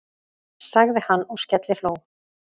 sagði hann og skellihló.